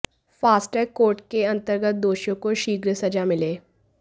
fast track court के अंतर्गत दोषियों को शीघ्र सजा मिले